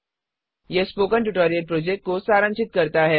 यह spoken tutorial project को सारांशित करता है